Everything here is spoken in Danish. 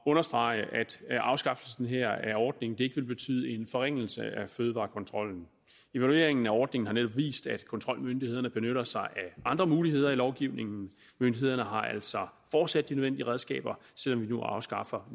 understrege at afskaffelsen af ordningen ikke vil betyde en forringelse af fødevarekontrollen evalueringen af ordningen har netop vist at kontrolmyndighederne benytter sig af andre muligheder i lovgivningen myndighederne har altså fortsat de nødvendige redskaber selv om vi nu afskaffer